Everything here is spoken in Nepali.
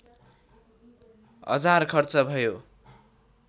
हजार खर्च भयो